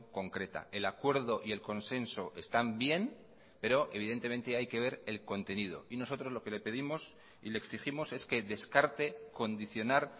concreta el acuerdo y el consenso están bien pero evidentemente hay que ver el contenido y nosotros lo que le pedimos y le exigimos es que descarte condicionar